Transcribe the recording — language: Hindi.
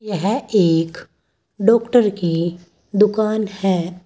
यह एक डॉक्टर की दुकान है।